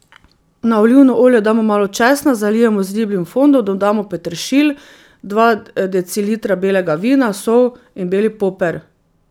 Na olivno olje damo malo česna, zalijemo z ribjim fondom, dodamo peteršilj, dva decilitra belega vina, sol in beli poper.